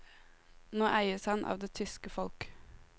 Nå eies han av det tyske folk.